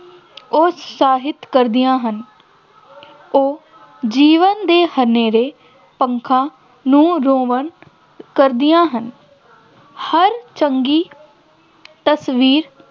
ਉਤਸਾਹਿਤ ਕਰਦੀਆਂ ਹਨ, ਉਹ ਜੀਵਨ ਦੇ ਹਨੇਰੇ ਨੂੰ ਕਰਦੀਆਂ ਹਨ, ਹਰ ਚੰਗੀ ਤਸਵੀਰ